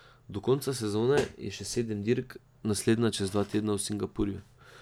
Do konca sezone je še sedem dirk, naslednja čez dva tedna v Singapurju.